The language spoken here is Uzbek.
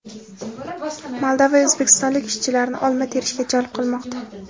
Moldova o‘zbekistonlik ishchilarni olma terishga jalb qilmoqda.